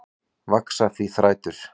Vaxa því þrætur